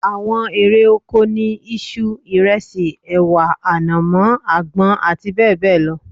Àwọn erè oko ni isu, ìresì, èwà, ànàmọ́, àgbọn àti bẹ́ẹ̀bẹ́ẹ̀ lọ